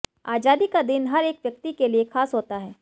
आजादी का दिन हर एक व्यक्ति के लिए खास होता है